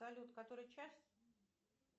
салют который час